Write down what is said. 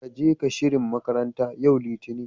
Kage ka shirin makaranta, yau Litinin.